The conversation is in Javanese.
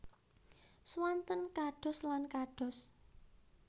Swanten kados lan kados